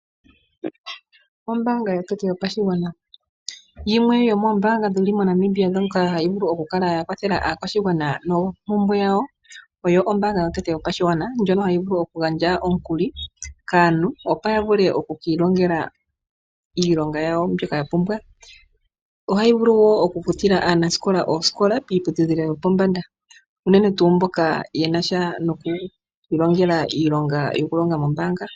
Ombaanga Yotango Yopashigwana. Yimwe yomoombaanga dhomoNamibia ndhoka hadhi vulu okukala dha kwathela aakwashigwana noompumbwe dhawo. Ohayi vulu gandja omikuli kaantu, opo ya vule oku ki ilongela iilonga yawo mbyoka ya pumbwa. Ohayi vulu wo okufutila aanasikola oosikola miiputudhilo yopombanda unene tuu mboka ye na sha nomaithano gokulonga mombaanga.